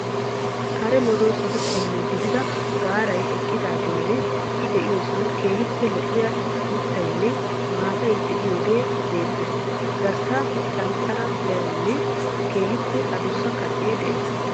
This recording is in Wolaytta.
Kare medoosatu qommo gidida gaarayi eqqidaageenne I de'iyosan keehippe lo'iya mittaynne maatay de"iyaagee beettees. Gaaraassi caanccare merayinne keehippe adussa kacee de'ees.